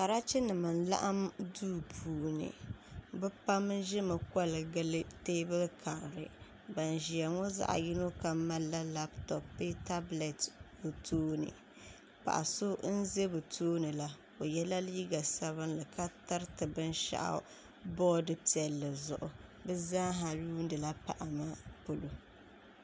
Karachi nim n laɣam duu puuni bi pam ʒimi koli gili teebuli karili bin ʒɛya ŋo zaɣ yino kam malila labtop bee tablɛto toini paɣa so n ʒɛ bi tooni la o yɛla liiga sabinli ka tiriti binshaɣu boodi piɛlli zuɣu bi zaa ha yuundila paɣa maa polo